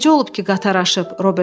Necə olub ki, qatar aşıb?